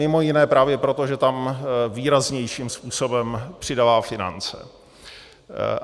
Mimo jiné právě proto, že tam výraznějším způsobem přidává finance.